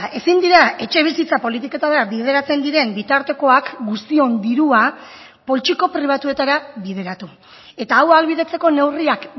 ezin dira etxebizitza politiketara bideratzen diren bitartekoak guztion dirua poltsiko pribatuetara bideratu eta hau ahalbidetzeko neurriak